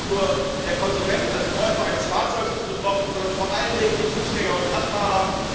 Nicht nur der Konsument als Käufer eines Fahrzeugs ist betroffen, sondern vor allen Dingen die Fußgänger und Radfahrer.